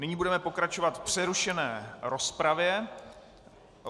Nyní budeme pokračovat v přerušené rozpravě.